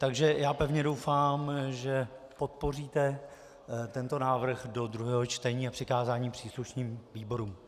Takže já pevně doufám, že podpoříte tento návrh do druhého čtení a přikázání příslušným výborům.